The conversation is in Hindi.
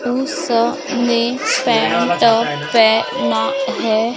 टु स ने पेंट टॉप पहना है।